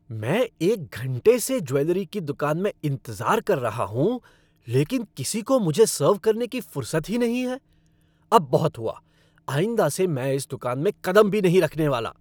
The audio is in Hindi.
मैं एक घंटा से ज्वैलरी की दुकान में इंतज़ार कर रहा हूँ लेकिन किसी को मुझे सर्व करने की फ़ुरसत ही नहीं है। अब बहुत हुआ, आइंदा से मैं इस दुकान में कदम भी नहीं रखने वाला।